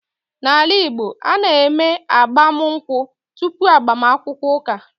N’ala Igbo, a na-eme agbamụnkwụ tupu agbaakwukwọ ụka.